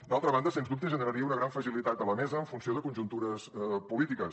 d’altra banda sens dubte generaria una gran fragilitat de la mesa en funció de conjuntures polítiques